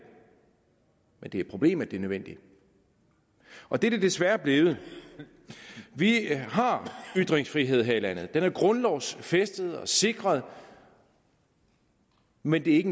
men det er et problem at det er nødvendigt og det er det desværre blevet vi har ytringsfrihed her i landet den er grundlovsfæstet og sikret men det er ikke